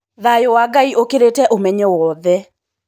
Thayũ wa Ngai ũkĩrĩte ũmenyo wothe.